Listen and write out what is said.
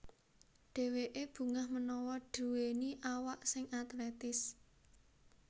Dèwèké bungah menawa duwèni awak sing atletis